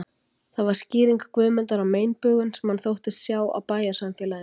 Það var skýring Guðmundar á meinbugum, sem hann þóttist sjá á bæjarsamfélaginu